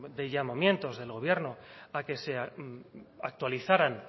de llamamientos del gobierno a que sea actualizaran